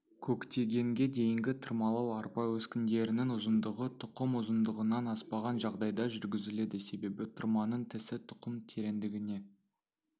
көктегенге дейінгі тырмалау арпа өскіндерінің ұзындығы тұқым ұзындығынан аспаған жағдайда жүргізіледі себебі тырманың тісі тұқым тереңдігіне